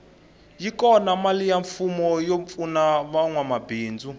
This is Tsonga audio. yi kona mali ya mfumo yo pfuna vanwa mabindzu